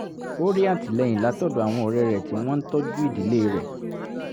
ó rí àtìlẹ́yìn látọ̀dọ̀ àwọn ọ̀rẹ́ rẹ̀ tí wọ́n ń tọ́jú ìdílé rẹ̀